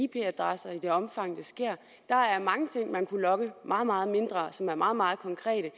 adresser i det omfang det sker der er mange ting man kunne logge meget meget mindre som er meget meget konkrete